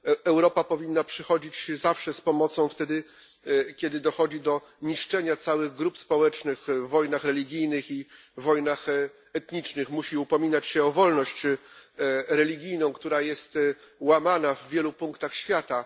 Europa powinna przychodzić zawsze z pomocą wtedy, kiedy dochodzi do niszczenia całych grup społecznych w wojnach religijnych i wojnach etnicznych, musi upominać się o wolność religijną, która jest łamana w wielu punktach świata.